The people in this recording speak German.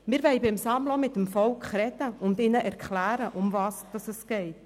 Wir wollen beim Sammeln auch mit der Bevölkerung sprechen und ihr erklären, worum es geht.